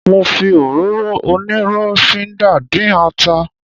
Mo fi òróró onílọ́fínńdà dín ata.